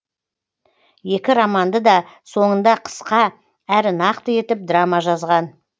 екі романды да соңында қысқа әрі нақты етіп драма жазған